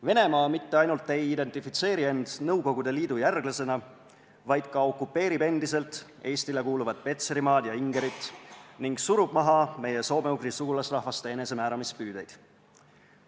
Venemaa mitte ainult ei identifitseeri end Nõukogude Liidu järglasena, vaid ka okupeerib endiselt Eestile kuuluvat Petserimaad ja Ingerit ning surub maha meie soome-ugri sugulasrahvaste enesemääramispüüdeid.